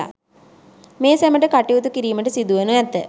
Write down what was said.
මේ සැමට කටයුතු කිරීමට සිදුවනු ඇත